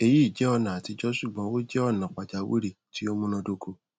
eyi jẹ ọna atijọ ṣugbọn o jẹ ọna pajawiri ti o munadoko